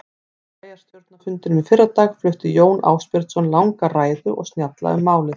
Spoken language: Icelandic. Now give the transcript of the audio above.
Á bæjarstjórnarfundinum í fyrradag flutti Jón Ásbjörnsson langa ræðu og snjalla um málið.